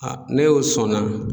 ne y'o sɔn na